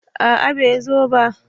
A'a bai zo ba